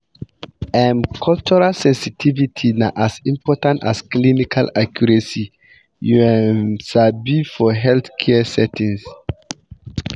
um cultural sensitivity na as important as clinical accuracy you um sabi for healthcare settings.